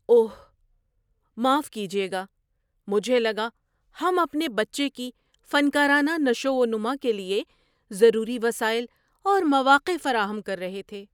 اوہ، معاف کیجیے گا! مجھے لگا ہم اپنے بچے کی فنکارانہ نشوونما کے لیے ضروری وسائل اور مواقع فراہم کر رہے تھے۔